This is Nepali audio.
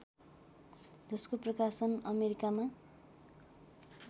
जसको प्रकाशन अमेरिकामा